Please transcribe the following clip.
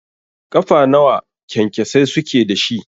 Ƙafa nawa kyankyasai suke dashi?